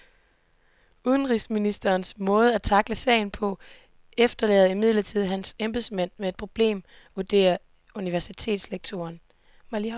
Udenrigsministerens måde at tackle sagen på efterlader imidlertid hans embedsmænd med et problem, vurderer universitetslektoren.